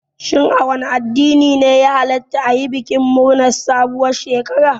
Shin a wane addini ne ya hallata ayi bikin murnar sabuwar shekara?